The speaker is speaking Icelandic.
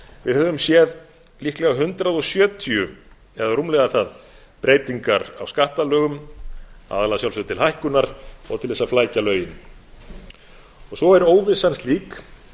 við höfum séð líklega hundrað sjötíu eða rúmlega það breytingar á skattalögum aðallega að sjálfsögðu til hækkunar og til þess að flækja lögin svo er óvissan slík